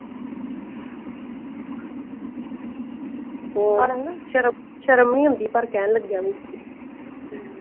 ਹੋਰ ਸ਼ਰਮ ਨਾ ਸ਼ਰਮ ਨੀ ਆਉਂਦੀ ਘਰ ਕਹਿਣ ਲੱਗਿਆ ਨੂੰ।